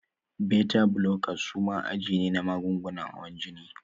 Beta blockers suma aji ne na magungunan hawan jini.